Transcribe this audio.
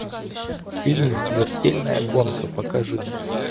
фильм смертельная гонка покажи